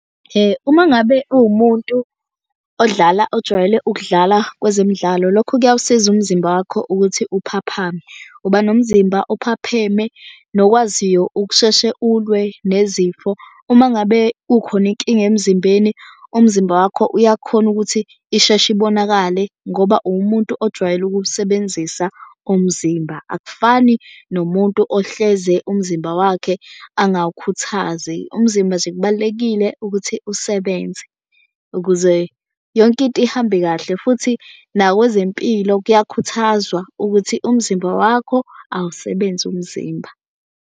Uma ngabe uwumuntu odlala ojwayele ukudlala kwezemidlalo lokho kuyawusiza umzimba wakho ukuthi uphaphame. Uba nomzimba ophapheme nokwaziwayo ukusheshe ulwe nezifo. Uma ngabe kukhona inkinga emzimbeni umzimba wakho uyakhona ukuthi isheshe ibonakale ngoba uwumuntu ojwayele ukuwusebenzisa umzimba. Akufani nomuntu ohleze umzimba wakhe angawukhuthazi. Umzimba nje kubalulekile ukuthi usebenze ukuze yonke into ihambe kahle futhi nakwezempilo kuyakhuthazwa ukuthi umzimba wakho awusebenze umzimba.